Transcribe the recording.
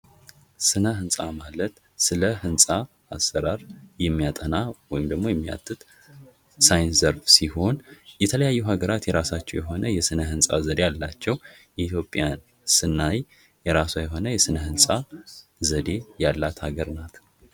ሥነ ሕንፃ ማለት ስለ ህንጻ አሰራር የሚያጠና ወይም ደግሞ የሚያትት ሳይንስ ዘርፍ ሲሆን ፤ የተለያዩ ሀገራት የራሳቸው የሆነ የሥነ ሕንፃ ዘዴ አላቸው። የኢትዮጵያን ስናይ የራሱ የሆነ የሥነ ሕንፃ ዘዴ ያላት አገር ናት።